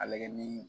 A lagɛ ni